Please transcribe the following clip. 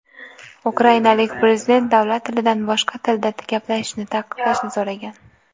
ukrainalik Prezident davlat tilidan boshqa tilda gaplashishini taqiqlashni so‘ragan.